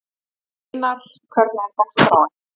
Sveinar, hvernig er dagskráin?